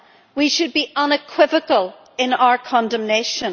We should be unequivocal in our condemnation.